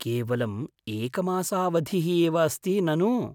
केवलम् एकमासावधिः एव अस्ति, ननु?